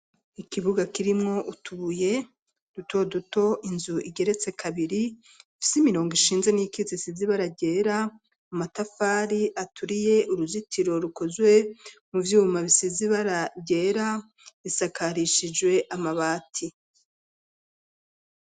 Ikibuga kirimwo utubuye duto duto, inzu igeretse kabiri ifise imirongo ishinze n'iyikitse isize ibara ryera amatafari aturiye uruzitiro rukozwe mu vyuma bisize ibara ryera risakarishijwe amabati.